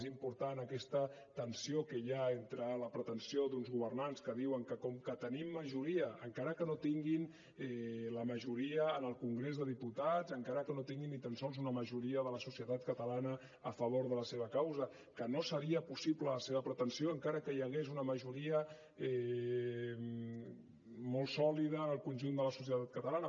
és important aquesta tensió que hi ha entre la pretensió d’uns governants que diuen que com que tenim majoria encara que no tinguin la majoria al congrés de diputats encara que no tinguin ni tan sols una majoria de la societat catalana a favor de la seva causa que no seria possible la seva pretensió encara que hi hagués una majoria molt sòlida en el conjunt de la societat catalana